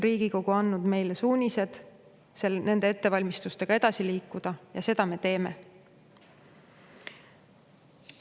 Riigikogu on andnud meile suunised nende ettevalmistustega edasi liikuda ja seda me teeme.